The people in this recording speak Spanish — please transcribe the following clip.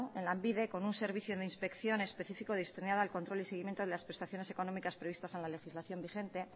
en lanbide con un servicio de inspección específico destinado al control y seguimiento de las prestaciones económicas previstas en la legislación vigente